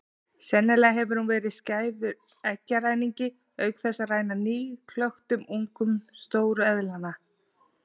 Sennilega hefur hún verið skæður eggjaræningi auk þess að ræna nýklöktum ungum stóru eðlanna.